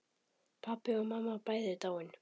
Pabbi og mamma bæði dáin.